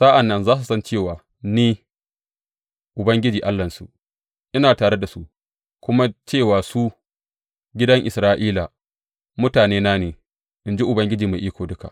Sa’an nan za su san cewa ni, Ubangiji Allahnsu, ina tare da su kuma cewa su, gidan Isra’ila, mutanena ne, in ji Ubangiji Mai Iko Duka.